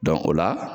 o la